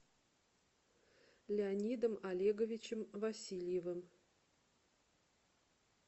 леонидом олеговичем васильевым